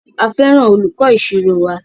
A fẹràn olùkọ ìṣirò wa.